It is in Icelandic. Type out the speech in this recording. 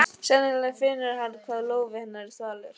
Sennilega finnur hann hvað lófi hennar er þvalur.